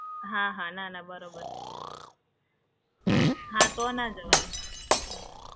હા હા, ના ના બરોબર છે. હા તો ન જવાય.